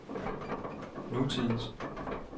nutidens